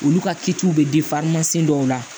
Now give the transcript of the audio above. Olu ka kitiw bɛ dɔw la